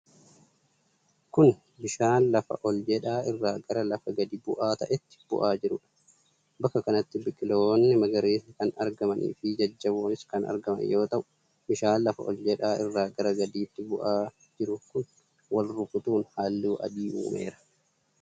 Kun ,bishaan lafa ol jedhaa irraa gara lafa gadi bu'aa ta'etti bu'aa jiruu dha. Bakka kanatti biqiloonni magariisni kan argamanii fi jajjaboonis kan argaman yoo ta'u bishaan lafa ol jedhaa irraa gara gadiitti bu'aa jiru kun wal rukutuun haalluu adii uumeera.